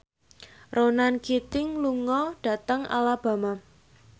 Ronan Keating lunga dhateng Alabama